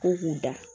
K'u k'u da